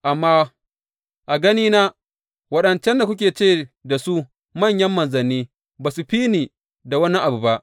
Amma a ganina waɗancan da kuke ce da su manyan manzanni ba su fi ni da wani abu ba.